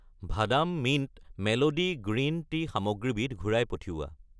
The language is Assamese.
ভাদাম মিণ্ট মেলোডি গ্ৰীণ টি সামগ্ৰীবিধ ঘূৰাই পঠিওৱা।